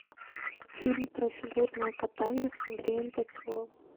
фильм про фигурное катание с андреем петровым